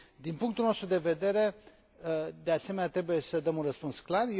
Din punctul nostru de vedere, de asemenea, trebuie să dăm un răspuns clar.